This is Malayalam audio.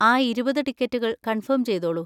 ആ ഇരുപത് ടിക്കറ്റുകൾ കൺഫേം ചെയ്തോളൂ.